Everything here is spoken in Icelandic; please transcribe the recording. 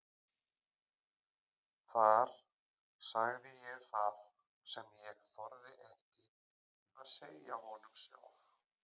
Þar sagði ég það sem ég þorði ekki að segja honum sjálf.